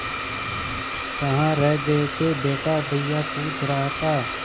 कहाँ रह गए थे बेटा भैया पूछ रहा था